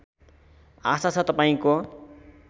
आशा छ तपाईँको